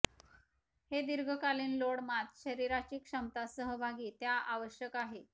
हे दीर्घकालीन लोड मात शरीराची क्षमता सहभागी त्या आवश्यक आहे